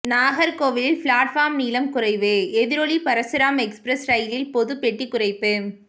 நாகர்கோவிலில் பிளாட்பார்ம் நீளம் குறைவு எதிரொலி பரசுராம் எக்ஸ்பிரஸ் ரயிலில் பொது பெட்டி குறைப்பு